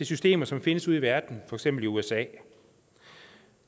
systemer som findes ude i verden for eksempel i usa